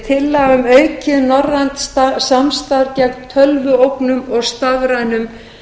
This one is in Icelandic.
tillaga um aukið norrænt samstarf gegn tölvuógnum og stafrænum